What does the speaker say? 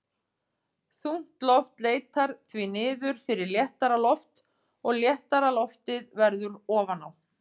Þungt loft leitar því niður fyrir léttara loft og létta loftið verður ofan á.